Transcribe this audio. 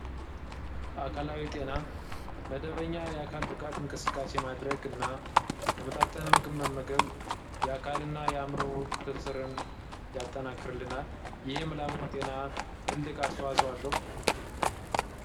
አካላዊ ጤና መደበኛ የአካል ብቃት እንቅስካሴ ማድረግ እና የተመጣጠን ምግብ መመምገብ የአካል እና የአእምሮ ፕርስርን ያጠናክርልናል። ይህ ምላምሩ ጤና ትልቅ አስዋፅኦ አለው።